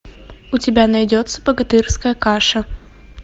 у тебя найдется богатырская каша